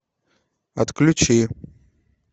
отключи